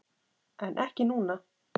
En ekki núna.